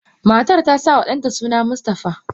Matar tasama danta suna Mustapha.